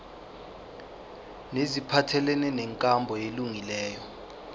neziphathelene nenkambo elungileyo